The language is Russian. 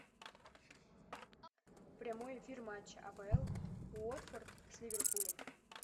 прямой эфир матча апл уотфорд с ливерпулем